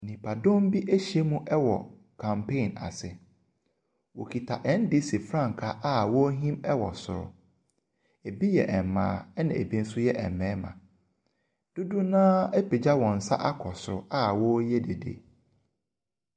Nnipadɔm bi ahyiam wɔ campaign ase. Wɔkita NDC frankaa a wɔrehim wɔ soro. Ɛbi yɛ mmaa na bi nso yɛ mmarima. Dodoɔ no ara apagya wɔn nsa akɔ soro a wɔreyɛ dede.